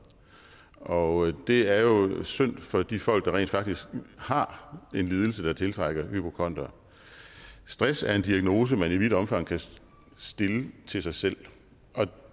og det er jo synd for de folk der rent faktisk har en lidelse der tiltrækker hypokondere stress er en diagnose man i vidt omfang kan stille til sig selv og